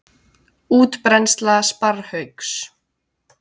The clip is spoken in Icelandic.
Útbreiðsla sparrhauks.